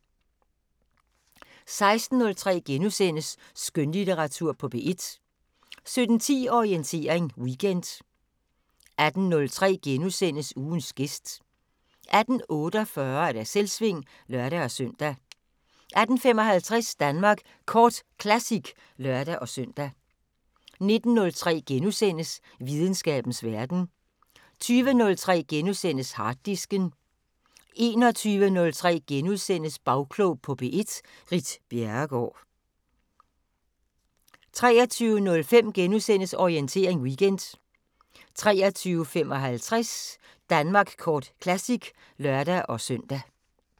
16:03: Skønlitteratur på P1 * 17:10: Orientering Weekend 18:03: Ugens gæst * 18:48: Selvsving (lør-søn) 18:55: Danmark Kort Classic (lør-søn) 19:03: Videnskabens Verden * 20:03: Harddisken * 21:03: Bagklog på P1: Ritt Bjerregaard * 23:05: Orientering Weekend * 23:55: Danmark Kort Classic (lør-søn)